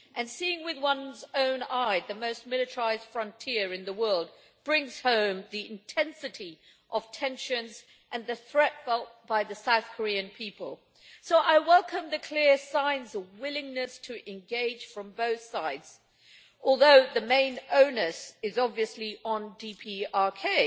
Seeing with one's own eye the most militarised frontier in the world brings home the intensity of tensions and the threat felt by the South Korean people, so I welcome the clear signs of a willingness to engage from both sides, although the main onus is obviously on DPRK,